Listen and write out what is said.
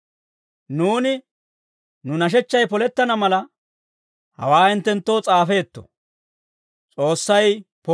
Nuuni nu nashechchay polettana mala, hawaa hinttenttoo s'aafeetto.